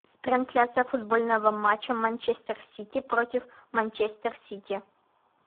трансляция футбольного матча манчестер сити против манчестер сити